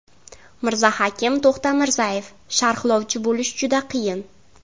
Mirzahakim To‘xtamirzayev: Sharhlovchi bo‘lish juda qiyin.